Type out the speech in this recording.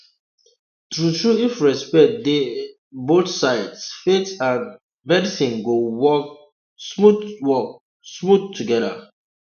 true true if respect dey um both sides faith and um medicine go work um smooth work um smooth together